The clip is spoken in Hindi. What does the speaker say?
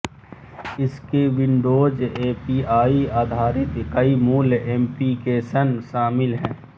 इसमें विंडोज़़ एपीआई आधारित कई मूल ऍप्लिकेशन शामिल हैं